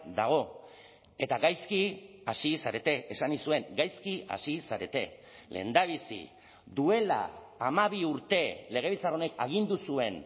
dago eta gaizki hasi zarete esan nizuen gaizki hasi zarete lehendabizi duela hamabi urte legebiltzar honek agindu zuen